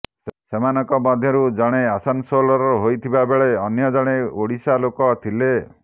ସେମାନଙ୍କ ମଧ୍ୟରୁ ଜଣେ ଆସାନସୋଲର ହୋଇଥିବାବେଳେ ଅନ୍ୟ ଜଣେ ଓଡ଼ିଶା ଲୋକ ଥିଲେ